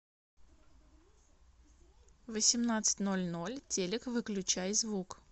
в восемнадцать ноль ноль телек выключай звук